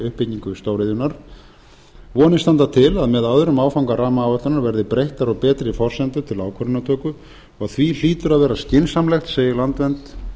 uppbyggingu stóriðjunnar vonir standa til að með öðrum áfanga rammaáætlunar verði breyttar og betri forsendur til ákvarðanatöku og því hlýtur að vera skynsamlegt segir landvernd